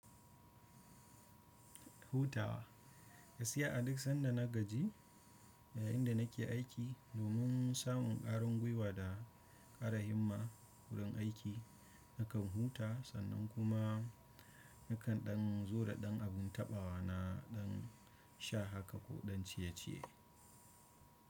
Hutawa. Gaskiya a duk sanda na gaji yayinda nake aiki, domin samun ƙwarin gwiwa da ƙara himma wurin aiki nakan huta sannan kuma nakan ɗan zo da ɗan abun taɓawa na ɗan sha haka ko ɗan ciye-ciye.